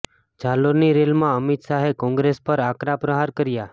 જાલોરની રેલમાં અમિત શાહે કોંગ્રેસ પર આકરા પ્રહાર કર્યાં